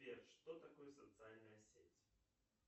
сбер что такое социальная сеть